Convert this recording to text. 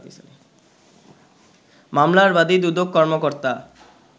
মামলার বাদি দুদক কর্মকর্তা